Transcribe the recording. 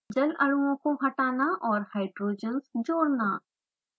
जल अणुओं को हटाना और hydrogens जोड़ना